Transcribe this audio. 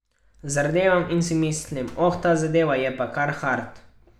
Zardevam in si mislim, oh, ta zadeva je pa kar hard.